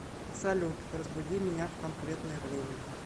салют разбуди меня в конкретное время